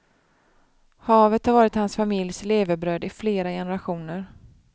Havet har varit hans familjs levebröd i flera generationer.